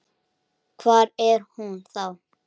Hvar er hún þá?